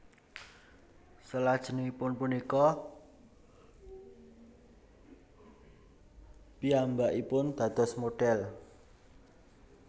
Selajengipun punika piyambakipun dados modhèl